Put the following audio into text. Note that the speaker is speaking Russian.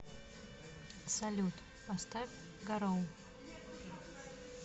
салют поставь гароу